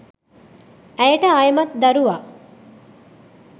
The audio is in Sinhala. ඇයට ආයෙමත් දරුවා